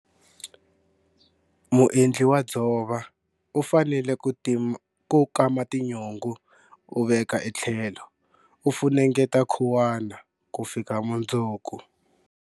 Muendli wa dzova u fanele ku kama tinyungu u veka etlhelo u funengeta khuwana ku fika mundzuku.